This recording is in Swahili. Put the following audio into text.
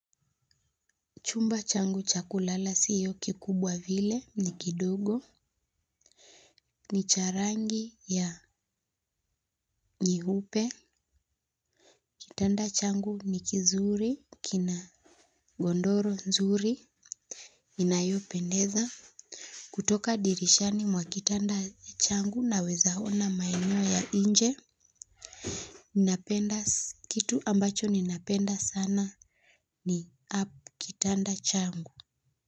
Chumba changu cha kulala siyo kikubwa vile ni kidogo. Ni cha rangi ya nyeupe. Kitanda changu ni kizuri kina godoro nzuri. Inayopendeza kutoka dirishani mwa kitanda changu naweza ona maeneo ya nje. Ninapenda kitu ambacho ninapenda sana. Ni app kitanda changu.